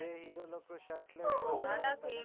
જે hero shirtless ફરતા હોય.